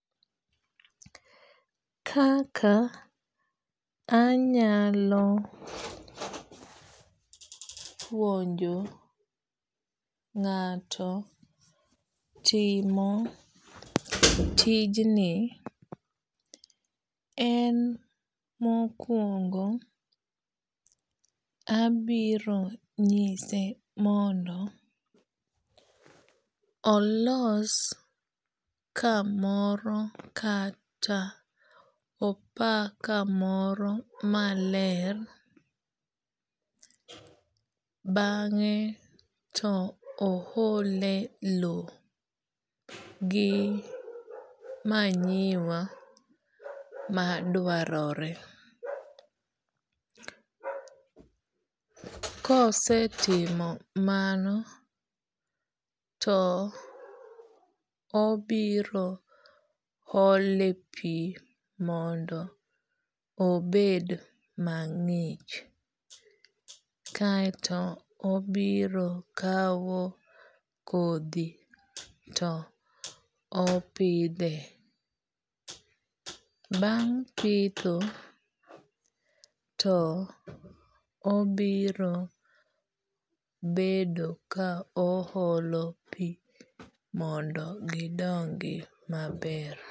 Kaka anyalo puonjo ng'ato timo tijni en mokuongo abiro nyise mondo olos kamoro kata opa kamoro maler bang'e to o ole low gi manyiwa madwarore. Kosetimo mano to obiro ole pi mondo obed mang'ich kaeto obiro kaw kodhi to opidhe. Bang' pitho to obiro bedo ka o holo pi mondo gidongi maber.